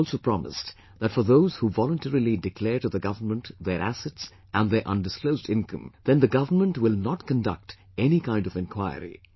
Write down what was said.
I have also promised that for those who voluntarily declare to the government their assets and their undisclosed income, then the government will not conduct any kind of enquiry